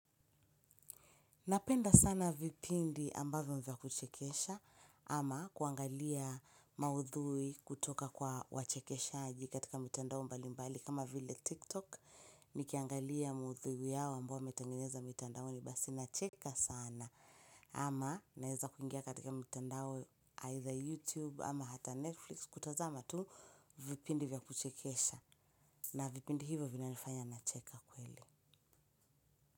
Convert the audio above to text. Napenda sana vipindi ambavyo vya kuchekesha ama kuangalia maudhui kutoka kwa wachekeshaaji katika mitandao mbali mbali kama vile tiktok nikiangalia maudhui yao ambayo wametengeneza mitandaoni basi nacheka sana ama naeza kuingia katika mitandao either youtube ama hata netflix kutazama tu vipindi vya kuchekesha na vipindi hivo vinanifanya nacheka kweli.